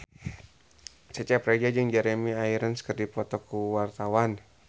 Cecep Reza jeung Jeremy Irons keur dipoto ku wartawan